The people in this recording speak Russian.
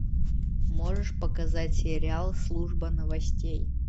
можешь показать сериал служба новостей